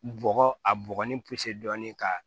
Bɔgɔ a bɔgɔ ni dɔɔnin k'a la